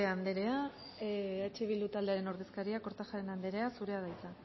anderea eh bildu taldearen ordezkaria kortajarena anderea zurea da hitza